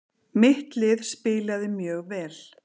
Mitt lið spilaði mjög vel.